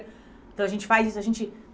Então, a gente faz isso. A gente